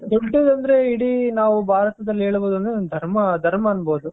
ದೊಡ್ಡದಂದ್ರೆ ಇಡೀ ನಾವು ಭಾರತದಲ್ಲಿ ಹೇಳೋದಾದ್ರೆ ಧರ್ಮ ಅನ್ಬೌದು .